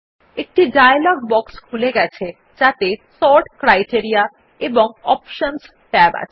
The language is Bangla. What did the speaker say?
একটি ডায়লগ বক্স খুলে গেছে যাতে সর্ট ক্রাইটেরিয়া এবং অপশনস ট্যাব আছে